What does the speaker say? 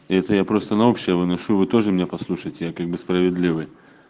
это я просто на общее выношу вы тоже меня послушать я как бы справедливый